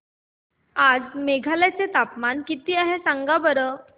आज मेघालय चे तापमान किती आहे सांगा बरं